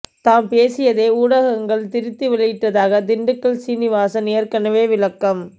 தாம் பேசியதை ஊடகங்கள் திரித்து வெளியிட்டதாக திண்டுக்கல் சீனிவாசன் ஏற்கனவே விளக்கம்